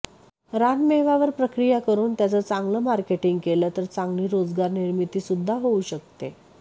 रानमेव्यावर प्रक्रिया करून त्याचं चांगलं मार्केटींग केलं तर चांगली रोजगार निर्मीती सुद्धा होऊ शकते